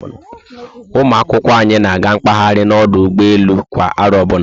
Ụmụ akwụkwọ anyị na-aga mkpahari na ọdụ ụgbọelu kwa aro ọbụna